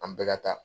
An bɛɛ ka taa